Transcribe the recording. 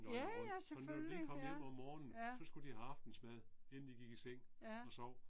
ja ja selvfølgelig, ja. Ja. Ja